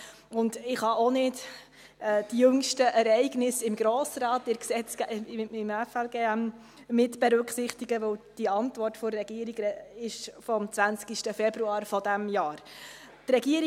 Aber ich kann die jüngsten Ereignisse im Grossen Rat mit dem FLG nicht mitberücksichtigen, weil die Antwort der Regierung vom 20. Februar dieses Jahres datiert.